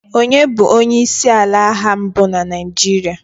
onye bu onye isi ala agha mbu na Naijiria?